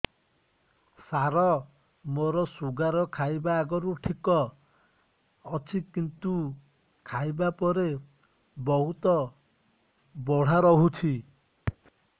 ସାର ମୋର ଶୁଗାର ଖାଇବା ଆଗରୁ ଠିକ ଅଛି କିନ୍ତୁ ଖାଇବା ପରେ ବହୁତ ବଢ଼ା ରହୁଛି